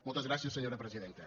moltes gràcies senyora presidenta